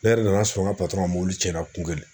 Ne yɛrɛ nana sɔrɔ n ka mobili tiɲɛna kun kelen